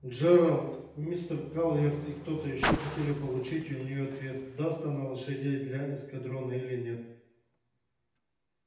джералд мистер калверт и кто-то ещё хотели получить у неё ответ даст она лошадей для эскадрона или нет